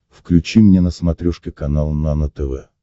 включи мне на смотрешке канал нано тв